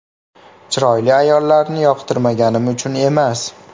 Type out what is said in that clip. Chiroyli ayollarni yoqtirmaganim uchun emas.